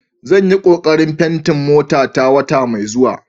Zan yi kokarin fenti motata wata mai zuwa.